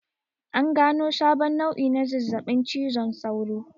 An gano sabon nau'i na zazzaɓin cizon sauro